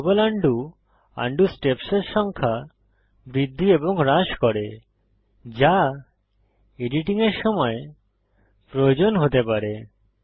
global undo undo স্টেপসের সংখ্যা বৃদ্ধি এবং হ্রাস করে যা এডিটিং এর সময় প্রয়োজন হতে পারে